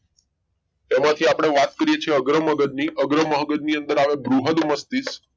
એમાંથી આપણે વાત કરીએ છીએ અગ્ર મગજની અગ્ર મગજ ની અંદર આવે બૃહદ મસ્તિષ્ક